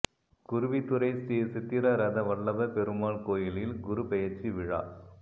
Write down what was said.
குருவித்துறை ஸ்ரீ சித்திர ரத வல்லப பெருமாள் கோயிலில் குரு பெயா்ச்சி விழா